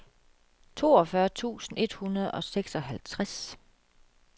toogfyrre tusind et hundrede og seksoghalvtreds